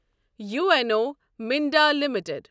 U N O Minda limited